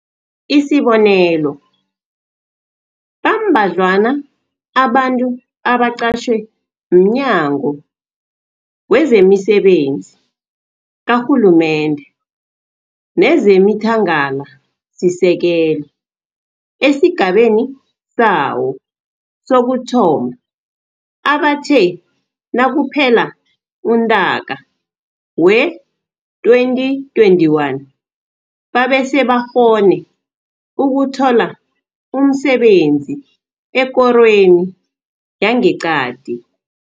Isibonelo, bambadlwana abantu abaqatjhwe mNyago wezemiSebenzi kaRhulumende nezemiThangalasisekelo esigabeni sawo sokuthoma abathe nakuphela uNtaka wee-2021 babesebakghone ukuthola umsebenzi ekorweni yangeqadi.